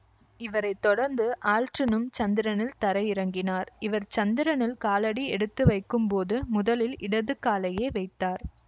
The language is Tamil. இவரை தொடர்ந்து ஆல்ட்ரினும் சந்திரனில் தரையிறங்கினார் இவர் சந்திரனில் காலடி எடுத்துவைக்கும் போது முதலில் இடது காலையே வைத்தார்